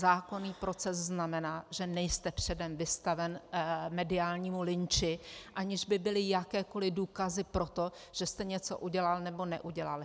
Zákonný proces znamená, že nejste předem vystaven mediálnímu lynči, aniž by byly jakékoli důkazy pro to, že jste něco udělal nebo neudělal.